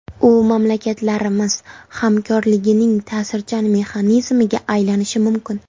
U mamlakatlarimiz hamkorligining ta’sirchan mexanizmiga aylanishi mumkin.